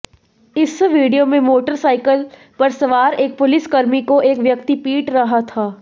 इस वीडियो में मोटरसाइकिल पर सवार एक पुलिसकर्मी को एक व्यक्ति पीट रहा था